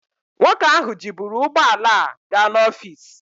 Nwoke ahụ jiburu ụgbọ ala a ga n'ọfis.